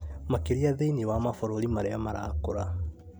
makĩria thĩinĩ wa mabũrũri marĩa marakũra,